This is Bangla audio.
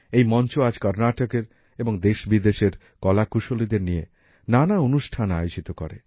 এই মঞ্চ আজ কর্নাটকের এবং দেশবিদেশের কলাকুশলীদের নিয়ে নানা অনুষ্ঠান আয়োজিত করে